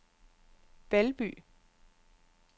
Valby